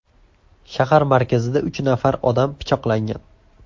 Shahar markazida uch nafar odam pichoqlangan.